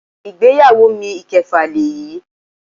Ìgbéyàwó mi ìkẹfà lèyí.